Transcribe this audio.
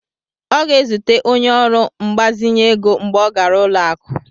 Ọ ga-ezute onye ọrụ mgbazinye ego mgbe ọ gara ụlọ akụ.